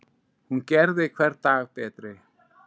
Hún gerði hvern dag betri.